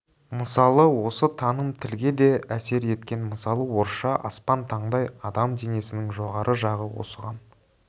мысалы осы таным тілге де әсер еткен мысалы орысша аспан таңдай адам денесінің жоғары жағы осыған